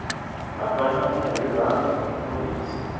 va banana hi rhanga ro hisa